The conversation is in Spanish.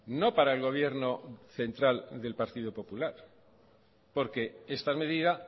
no para el gobierno central del partido popular porque esta medida